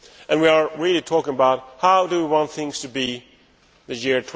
We are really talking about how we want things to be in the year